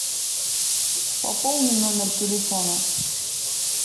пополни номер телефона